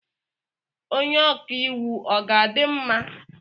Onye ọka iwu ọ ga-adị mma?